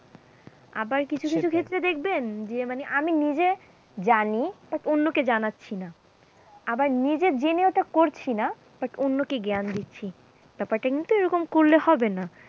আবার কিছু কিছু ক্ষেত্রে দেখবেন যে মানে আমি নিজে জানি but অন্যকে জানাচ্ছি না আবার নিজে জেনে ওটা করছি না, but অন্যকে জ্ঞান দিচ্ছি, ব্যাপারটা কিন্তু এরকম করলে হবে না।